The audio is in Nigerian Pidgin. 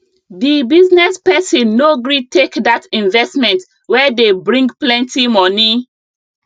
the business person no gree take that investment wey dey bring plenty money